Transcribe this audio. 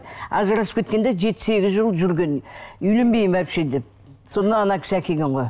ажырасып кеткенде жеті сегіз жыл жүрген үйленбеймін вообще деп сонда ана кісі әкелген ғой